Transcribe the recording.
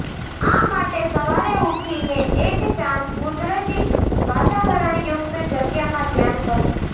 આ માટે સવારે ઊઠી ને એક શાંત કુદરતી વાતાવરણયુકત જગ્યા મા ધ્યાન કરવુ